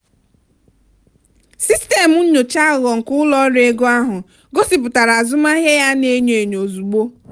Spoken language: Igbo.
sistemu nyocha aghụghọ nke ụlọ ọrụ ego ahụ gosipụtara azụmahịa ya a na-enyo enyo ozugbo.